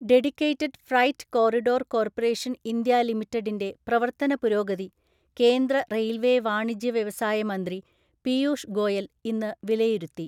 Dedicated Freight Corridor‍ Corporation‍ India ലിമിറ്റഡിന്റെ പ്രവര്‍ത്തനപുരോഗതി കേന്ദ്ര റെയില്‍വേ വാണിജ്യ വ്യവസായ മന്ത്രി പീയൂഷ് ഗോയല്‍ ഇന്ന് വിലയിരുത്തി.